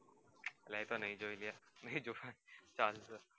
મે તો નહિ જોઈ